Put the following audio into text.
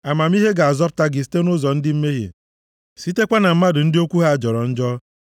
Amamihe ga-azọpụta gị site nʼụzọ ndị mmehie, sitekwa na mmadụ ndị okwu ha jọrọ njọ,